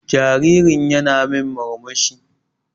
Jaririn ƴana min murmushi.